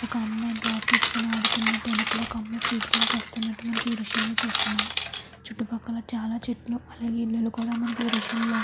ఒక అమ్మాయి బ్యాటరీ తెచ్చుకొని ఆడుతున్నట్టు ఎనకాల ఫీల్డింగు కాస్తున్నట్టు ఈ దృశ్యంలో చూస్తున్నాము. చుట్టుపక్కల చాలా చెట్లు అలాగే కొండలు కూడా ఈ దృశ్యంలోనే--